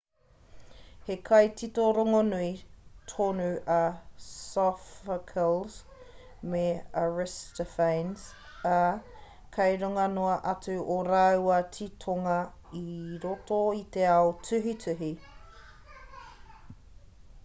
he kaitito rongonui tonu a sophocles me aristophanes ā kei runga noa atu ō rāua titonga i roto i te ao tuhituhi